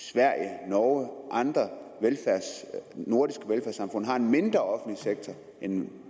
sverige norge og andre nordiske velfærdssamfund har en mindre offentlig sektor end